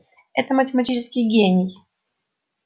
это математический гений